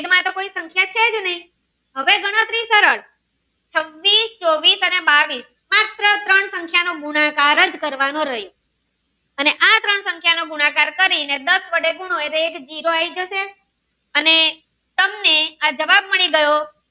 છવ્વીસ ચોવીસ અને બાવીસ માત્ર તારણ સંખ્યા નો ગુણાકાર કરવાનો રહ્યો આ ત્રણ સંખ્યાનો ગુણાકાર કરી ને દાસ વડે ગુનો એટલે જીરો આવી જશે અને તમને આ જવાબ મળી ગયો.